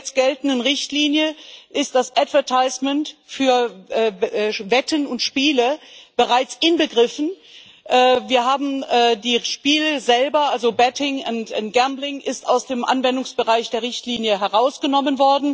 In der bis jetzt geltenden Richtlinie ist das advertisement für Wetten und Spiele bereits inbegriffen. Wir haben die Spiele selber, also betting und gambling aus dem Anwendungsbereich der Richtlinie herausgenommen.